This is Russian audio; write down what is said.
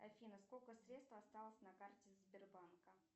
афина сколько средств осталось на карте сбербанка